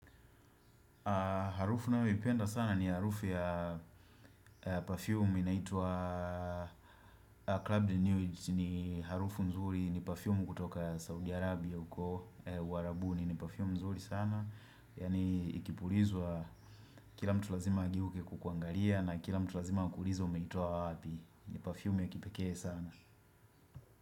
Harufu ninayoipenda sana ni harufu ya Perfume inaitwa Clubed Newage ni harufu nzuri ni Parfume kutoka Saudi Arabia Uarabuni ni Parfume nzuri sana Yani ikipulizwa Kila mtu lazima ageuke kukuangalia na kila mtu lazima akuulize umeitoa wapi ni Parfume ya kipekee sana.